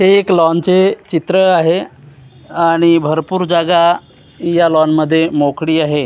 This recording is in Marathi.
हे एक लॉन चे चित्र आहे आणि भरपूर जागा या लॉन मध्ये मोकळी आहे.